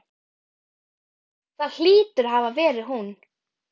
Þessa fjóra daga helgar hann sorg sinni.